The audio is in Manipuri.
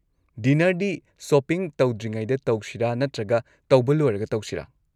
ꯗꯤꯅꯔꯗꯤ ꯁꯣꯄꯤꯡ ꯇꯧꯗ꯭ꯔꯤꯉꯩꯗ ꯇꯧꯁꯤꯔꯥ ꯅꯠꯇ꯭ꯔꯒ ꯇꯧꯕ ꯂꯣꯏꯔꯒ ꯇꯧꯁꯤꯔꯥ?